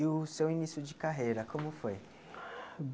E o seu início de carreira, como foi?